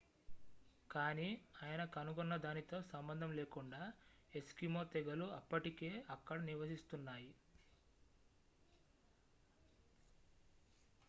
కానీ ఆయన కనుగొన్నదానితో సంబంధం లేకుండా ఎస్కిమో తెగలు అప్పటికే అక్కడ నివసిస్తున్నాయి